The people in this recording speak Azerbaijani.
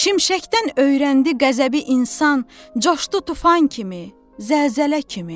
Şimşəkdən öyrəndi qəzəbi insan, coşdu tufan kimi, zəlzələ kimi.